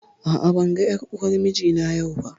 A'a, ban ga ƴar uwar mijina yau ba